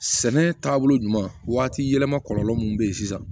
Sɛnɛ taabolo ɲuman waati yɛlɛma kɔlɔlɔ min bɛ yen sisan